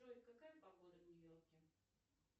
джой какая погода в нью йорке